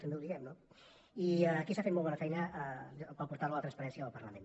també ho diguem no i aquí s’ha fet molt bona feina per al portal de la transparència del parlament